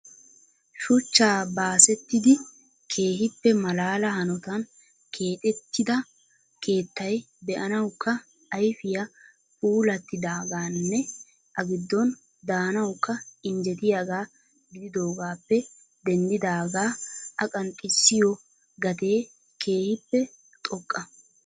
Shuchcha baasettidi keehippe malaala hanotan keexxettida keettay be'anawukka ayfiyaa puulatidaaganne a giddon daanawukka injjetiyaaga gididoogappe denddidaaga I qanxxissiyo gatee keehippe xoqqa.